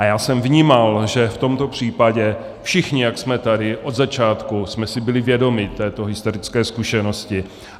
A já jsem vnímal, že v tomto případě všichni, jak jsme tady, od začátku jsme si byli vědomi této historické zkušenosti.